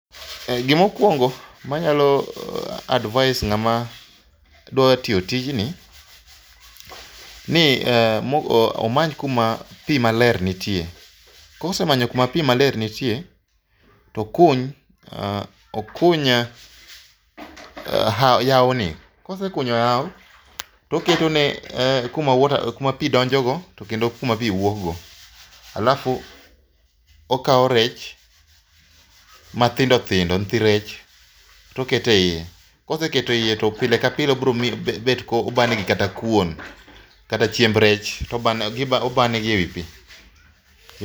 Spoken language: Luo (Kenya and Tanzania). Gima okuongo manyalo advise ng'ama dwaro tiyo tijni, ni omany kuma pi maler nitie. Kosemanyo kuma pi maler nitie to okuny, okuny yawoni,.. Ka osekunyo yawoni to oketone kuma pi donjogo kendo kuma pi wuok go alafu okawo rech mathindo thindo nyithi rech to oketo eiye. Koseketo eiye to pile ka pile obiro bet ka obanegi kata kuon, kata chiemb rech to obayo negi ewi pi.